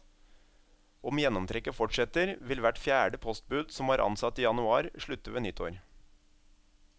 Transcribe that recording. Om gjennomtrekket fortsetter vil hvert fjerde postbud som var ansatt i januar, slutte ved nyttår.